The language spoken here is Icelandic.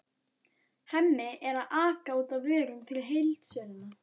Hemmi er að aka út vörum fyrir heildsöluna.